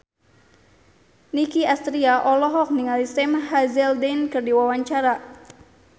Nicky Astria olohok ningali Sam Hazeldine keur diwawancara